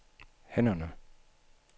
hænderne